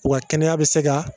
Wa kɛnɛya be se